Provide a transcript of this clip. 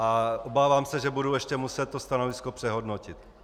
A obávám se, že budu ještě muset to stanovisko přehodnotit.